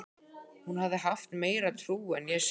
Hún hafði haft meiri trú en ég sjálf.